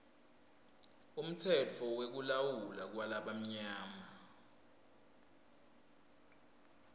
umtsetfo wekulawulwa kwalabamnyama